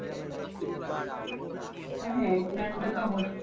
হ্যাঁ eight nine টা তো